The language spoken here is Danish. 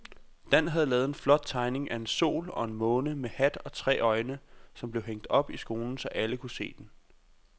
Dan havde lavet en flot tegning af en sol og en måne med hat og tre øjne, som blev hængt op i skolen, så alle kunne se den.